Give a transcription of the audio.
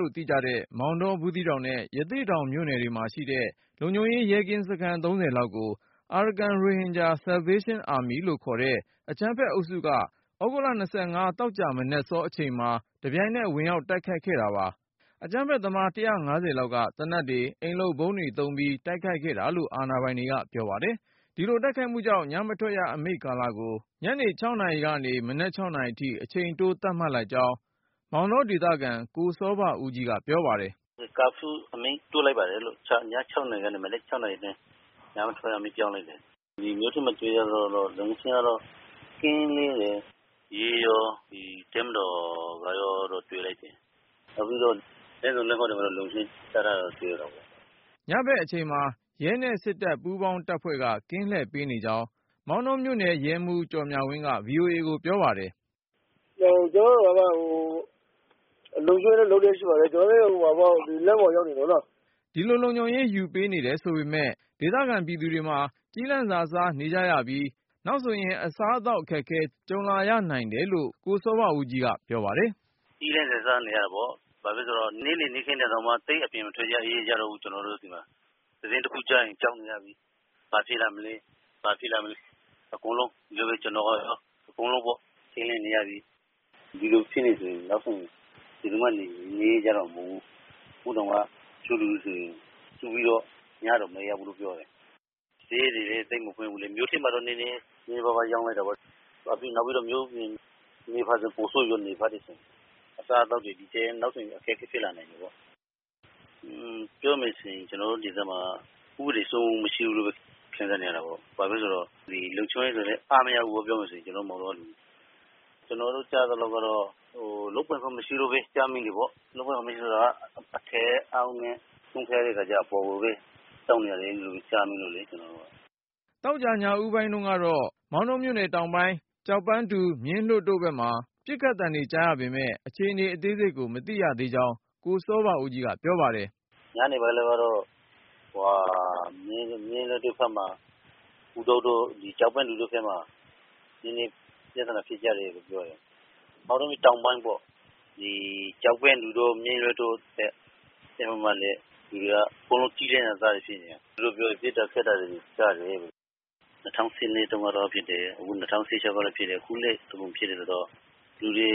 လို့ သိကြတဲ့ မောင်တော၊ ဘူးသီးတောင်နဲ့ ရသေ့တောင်မြို့နယ်တွေမှာရှိတဲ့ လုံခြုံရေး ရဲကင်းစခန်း လောက်ကို Arakan Rohingya Salvation Army လို့ခေါ်တဲ့ အကြမ်းဖက်အုပ်စုက သြဂုတ်လ သောကြာမနက်စော အချိန်မှာ တပြိုင်နက် ဝင်ရောက်တိုက် ခိုက်ခဲ့တာပါ။ အကြမ်းဖက်သမား ၁၅၀ လောက်က သေနတ်တွေ၊ အိမ်လုပ်ဗုံးတွေသုံးပြီး တိုက်ခိုက်ခဲ့တာလို့ အာဏာပိုင်တွေက ပြောပါတယ်။ ဒီလိုတိုက်ခိုက်မှုကြောင့် ညမထွက်ရအမိန့်ကာလကို ညနေ နာရီကနေ မနက် နာရီအထိ အချိန်တိုး သတ်မှတ်လိုက်ကြောင်း မောင်တော ဒေသခံ ကိုစောဘဦးကြီးက ပြောပါတယ်။ “ Curfew အမိန့်တိုးလိုက်ပါတယ်။ ည ၆နာရီကနေ မနက်၆ နာရီအတွင်း ညမထွက်ရအမိန့် ပြောင်းလိုက်တယ်။ ဒီမြို့ထဲမှာ တွေ့ရသလောက်ကတော့ လုံခြုံရေးကတော့ ကင်းလှည့်နေတယ်။ ရဲရော တပ်မတော်ကရော တွေ့တယ်။ နောက်ပြီးတော့ လမ်းဆုံလမ်းဂွ တွေမှာလည်း လုံခြုံရေး ချထားတာတွေ့ရတယ်။” ညဖက်အချိန်မှာ ရဲနဲ့စစ်တပ် ပူးပေါင်းတပ်ဖွဲ့က ကင်းလှည့်ပေးနေကြောင်း မောင်တောမြို့နယ် ရဲမှူး ကျော်မြဝင်းက VOA ကိုပြောပါတယ်။ " ကျနော်တို့ လုံခြုံရေးယူထားပါတယ် လမ်းပေါ်မှာ ရောက်နေကြပါတယ်။" ဒီလို လုံခြုံရေးယူပေးနေတယ်ဆိုပေမဲ့ ဒေသခံပြည်သူတွေမှာ ကျီးလန့်စာစားနေကြရပြီး၊ နောက်ဆိုရင် အစားအသောက် အခက်အခဲ ကြုံရနိုင် တယ်လို့ ကိုစောဘဦးကြီးက ပြောပါတယ်။ “ကျီးလန့်စာစားနေရတယ်ပေါ့၊ ဘာလို့လဲဆိုတော့ နေ့လည်နေ့ခင်းတောင်မှ သိပ်ပြီးအပြင်မထွက်ရဲ ကြတော့ဘူး ကျနော်တို့ဆီမှာ။ သတင်းတခုခု ကြားရင် ကြောက်နေရပြီ… ဘာဖြစ်လာမလဲ.. ဘာဖြစ်လာမလဲ။ အကုန်လုံးပဲ ထိန့်လန့်နေရပြီ။ ဒီလိုသာဖြစ်နေမယ် ဆိုရင် နောက်ဆို ဘယ်သူမှ နေရဲကြတော့မှာ မဟုတ်ဘူး။ ခုတောင်မှာ တချို့လူတွေဆိုရင် စုပြီးတော့ ညတောင်မအိပ်ရဘူးလို့ ပြောတယ်။ ဈေးတွေလဲ သိပ်မဖွင့်ဘူးလေ။ မြို့ထဲမှာတော့ နည်းနည်းပါးပါးရောင်းတာပေါ့။ နောက်ပြီး မြို့ပြင်ဘက်ဆိုပိုဆိုးမှာပေါ့ နယ်ဖက်တွေမှာ။ အစားအသောက်တွေ နောက်ဆိုဒီထက် အခက်အခဲဖြစ်လာမှာပေါ့။ ပြောမယ်ဆိုရင် ကျနော်တို့ဒေသမှာက ဥပဒေစိုးမိုးမှု မရှိဘူးလို့ ခံစားနေရ တာပေါ့။ ဘာလို့လဲဆိုရင် လုံခြုံရေးဆိုရင်လဲ အားမရဘူးပေါ့ ကျနော်တို့မောင်တောမှာ။ ကျနော်တို့ကြားမိတာက ရဲက လုပ်ပိုင်ခွင့် မရှိလို့ပဲ ဖြစ်နေရတာ။ လုပ်ပိုင်ခွင့်ဆိုတာက အထက်အောက်နဲ့ ဆုံးဖြတ်ရတဲ့ခါကျတော့ အပေါ်ကိုပဲ ခွင့်တောင်းနေရတယ်လို့ ကြားမိတယ်။ ” သောကြာ ညဦးပိုင်းတုန်းကတော့ မောင်တောမြို့နယ်တောင်ပိုင်း ကျောက်ပန်းတူ၊ မြင်းလွှတ်တို့ဘက်မှာ ပစ်ခတ်သံတွေ ကြားရပေမယ့် အခြေအနေ အသေးစိတ်ကို မသိရသေးကြောင်း ကိုစောဘဦးကြီးက ပြောပါတယ်။ " ညနေပိုင်းတုန်းကတော့ မြင်းလွှတ်တွေဘက်မှာ ကျောက်ပန်းတူတို့ဘက်မှာ နည်းနည်းပြသနာဖြစ်ကြတယ်လို့ပြောတယ်။ မောင်တော တောင်ပိုင်းပေါ့။ လူတွေအကုန်လုံးက ကျီးလန့်စာစားတွေဖြစ်နေကြတာ။ အကုန်လုံးက ပစ်တာခတ်တာတွေ ဖြစ်တယ် ၂၀၁၂တုန်းကလည်းဖြစ်တယ် ၂၀၁၆ကလည်းဖြစ်တယ် အခုလည်းဖြစ်တယ်ဆိုတော့ လူတွေ